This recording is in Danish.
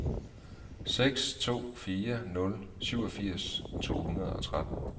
seks to fire nul syvogfirs to hundrede og tretten